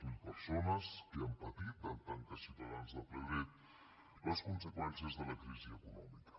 zero persones que han patit en tant que ciutadans de ple dret les conseqüències de la crisi econòmica